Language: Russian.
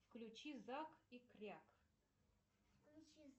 включи зак и кряк